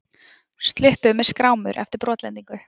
Sluppu með skrámur eftir brotlendingu